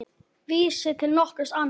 Vísi til nokkurs ama.